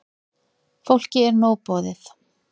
Fólki er nóg boðið.